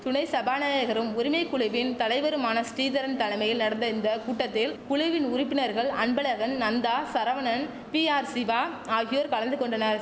துணை சபாநாயகரும் உரிமை குழுவின் தலைவருமான ஸ்ரீதரன் தலமையில் நடந்த இந்த கூட்டத்தில் குழுவின் உறுப்பினர்கள் அன்பழகன் நந்தா சரவணன் பிஆர்சிவா ஆகியோர் கலந்து கொண்டனர்